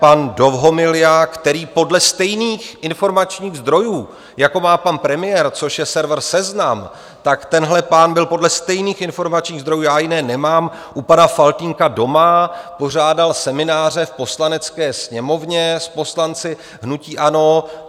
Pan Dovhomilja, který podle stejných informačních zdrojů, jako má pan premiér, což je server Seznam, tak tenhle pán byl podle stejných informačních zdrojů - já jiné nemám - u pana Faltýnka doma, pořádal semináře v Poslanecké sněmovně s poslanci hnutí ANO.